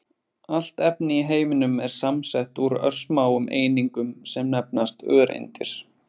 Allt efni í heiminum er samsett úr örsmáum einingum sem nefnast öreindir.